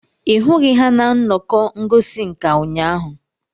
ị hụghị ha na nnọkọ ngosi nka ụnyahụ?